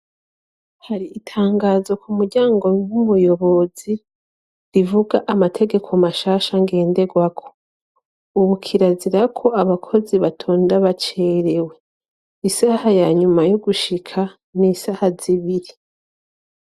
Hari itangazo ku muryango w'ubuyobozi rivuga amategeko mashasha ngenderwako ubu kirazira ko abakozi batonda bacerewe isaha ya nyuma yo gushika ni isaha zibiri.